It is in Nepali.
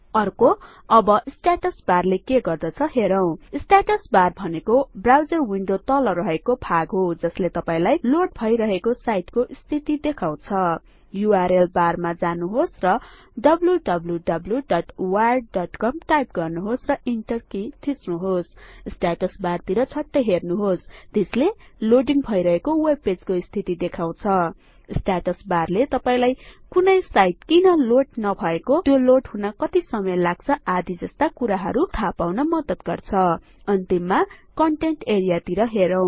अर्को अब स्टेटस बारले के गर्दछ हेरौं स्टेटस बार भनेको ब्राउजर विन्डो तल रहेको भाग हो जसले तपाईंलाई लोड भइरहेको साईटको स्थिति देखाउँछ यूआरएल बार मा जानुहोस् र wwwwiredcom टाईप गर्नुहोस् र ईन्टरकि थिच्नुहोस् स्टेटस बारतिर झट्टै हेर्नुहोस् त्यसले लोडिङ भइरहेको वेबपेजको स्थिति देखाउँछ स्टेटस बारले तपाईंलाई कुनै साईट किन लोड नभएको त्यो लोड हुन कति समय लाग्छ आदि जस्ता कुराहरु थाहापाउन मद्दत गर्छ अन्तिममा कन्टेन्ट एआरईए तिर हेरौं